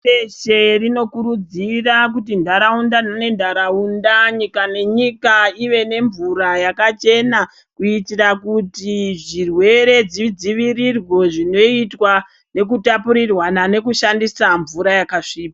Pashireshe rinokurudzira kuti ntaraunda nentaraunda, nyika nenyika ive nemvura yakachena kuitira kuti zvirwere zvidzivirirwe zvinoitwa nekutapurirwa nekushandisa mvura yakasviba.